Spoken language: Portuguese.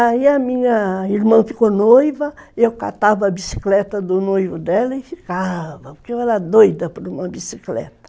Aí a minha irmã ficou noiva, eu catava a bicicleta do noivo dela e ficava... Porque eu era doida por uma bicicleta.